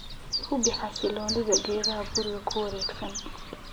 Hubi xasiloonida geedaha guriga ku wareegsan"